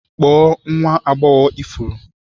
Kpọọ nwa agbọghọ ifuru